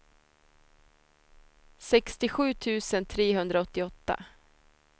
sextiosju tusen trehundraåttioåtta